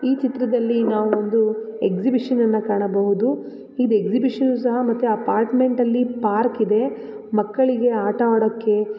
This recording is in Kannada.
ಈ ಚಿತ್ರದಲ್ಲಿ ನಾವು ಒಂದು ಎಕ್ಸಿಬಿಷನ್ ಅನ್ನ ಕಾಣಬಹುದು ಈ ಎಕ್ಸಿಬಿಷನ್ ಸಹ ಅಪಾರ್ಟ್ಮೆಂಟಲ್ಲಿ ಪಾರ್ಕ್ ಇದೆ ಮಕ್ಕಳಿಗೆ ಆಟಆಡೋಕೆ --